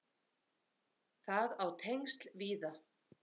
Það á tengsl víða.